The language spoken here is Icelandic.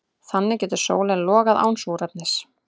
Þannig getur sólin logað án súrefnis.